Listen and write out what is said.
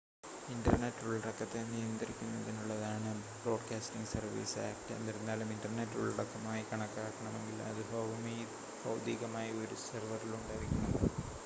internet ഉള്ളടക്കത്തെ നിയന്ത്രിക്കുന്നതിനുള്ളതാണ് broadcasting services act എന്നിരുന്നാലും ഇൻ്റർനെറ്റ് ഉള്ളടക്കമായി കണക്കാക്കണമെങ്കിൽ അത് ഭൗതികമായി ഒരു സെർവറിൽ ഉണ്ടായിരിക്കണം